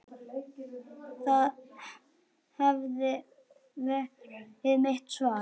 Það hefði verið mitt svar.